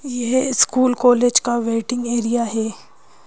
यह school college का waiting area है।